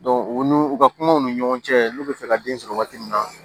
u n'u u ka kumaw ni ɲɔgɔn cɛ n'u bɛ fɛ ka den sɔrɔ waati min na